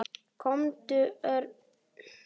Komdu, Örn.